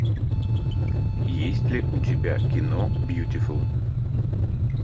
есть ли у тебя кино бьютифул